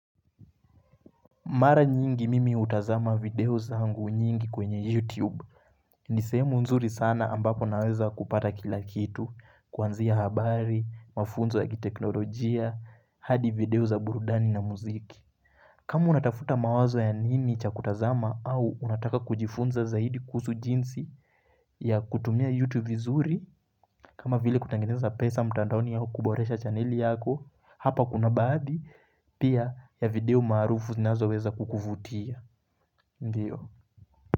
Mara nyingi mimi hutazama video zangu nyingi kwenye YouTube. Ni sehemu nzuri sana ambapo naweza kupata kila kitu. Kwanzia habari, mafunzo ya kiteknolojia, hadi video ya burudani na muziki. Kamu unatafuta mawazo ya nini cha kutazama au unataka kujifunza zaidi kusu jinsi ya kutumia YouTube vizuri. Kama vile kutangeneza pesa mtandoni yao kuboresha channeli yako hapa kuna badhi pia ya video maarufu zinazo weza kukuvutia. Ndio.